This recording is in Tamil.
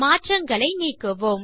மாற்றங்களை நீக்குவோம்